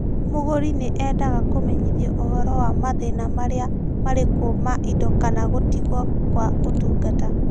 Mũgũri nĩ endaga kũmenyithio ũhoro wa mathĩna marĩa marĩ kuo ma indo kana gũtigwo kwa ũtungata.